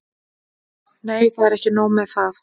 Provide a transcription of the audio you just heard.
Nei, það er ekki nóg með það.